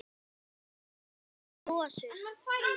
Vantar ykkur ekki hosur?